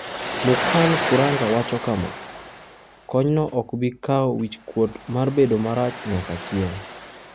Mukankuranga wacho kama: "Konyno ok bi kawo wich kuot mar bedo marach nyaka chieng'."